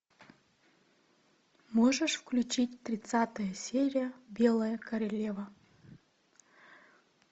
можешь включить тридцатая серия белая королева